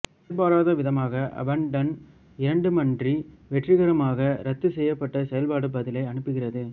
எதிர்பாரதவிதமாக abandon இரண்டுமன்றி வெற்றிகரமாக இரத்துசெய்யப்பட்ட செயல்பாடு பதிலை அனுப்புகிறது